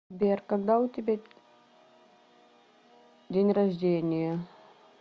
сбер когда у тебя день рождения